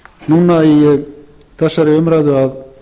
núna í þessari umræðu að